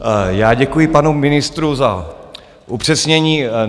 Já děkuji panu ministru za upřesnění.